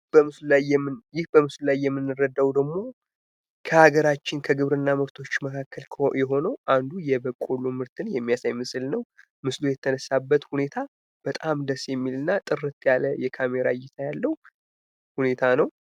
ይህ በምስሉ ላይ የምንረዳው ደግሞ ከሀገራችን ከግብርና ምርቶች መካከል የሆነው አንዱ የበቆሎ ምርትን የሚያሳይ ምስል ነው። ምስሉ የተነሳበት ሁኔታ በጣም ደስ የሚልና ጥርት ያለ የካሜራ እይታ ያለው ሁኔታ ነው።